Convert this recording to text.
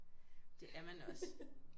Det er man også